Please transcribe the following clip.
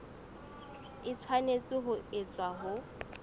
e tshwanetse ho etswa ho